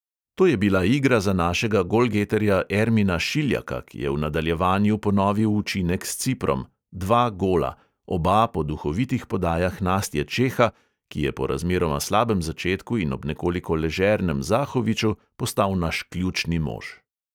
To je bila igra za našega golgeterja ermina šiljaka, ki je v nadaljevanju ponovil učinek s ciprom – dva gola: oba po duhovitih podajah nastje čeha, ki je po razmeroma slabem začetku in ob nekoliko ležernem zahoviču postal naš ključni mož.